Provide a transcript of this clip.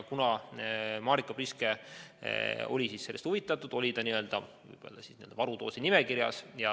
Kuna Marika Priske oli sellest huvitatud, jäi ta n-ö varudoosinimekirja.